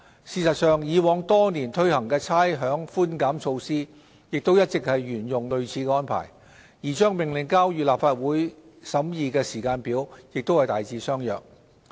事實上，以往多年推行的差餉寬減措施亦一直沿用類似安排，而將《命令》交予立法會審議的時間表亦大致相若。